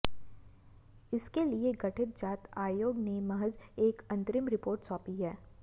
इसके लिए गठित जांच आयोग ने महज एक अंतरिम रिपोर्ट सौंपी है